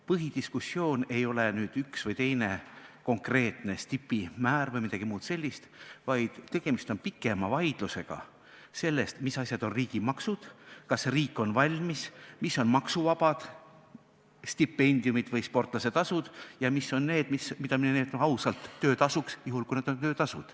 Põhidiskussioon ei ole üks või teine konkreetne stipimäär või midagi muud sellist, vaid tegemist on pikema vaidlusega, mis asjad on riigimaksud, kas riik on valmis, mis on maksuvabad stipendiumid või sportlasetasud ja mis on see, mida me nimetame ausalt töötasuks, juhul kui see on töötasu.